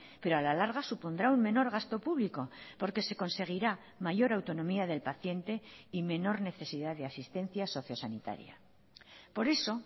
pero a la larga supondrá un menor gasto público porque se conseguirá mayor autonomía del paciente y menor necesidad de asistencias socio sanitaria por eso